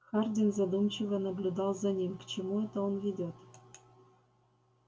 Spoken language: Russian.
хардин задумчиво наблюдал за ним к чему это он ведёт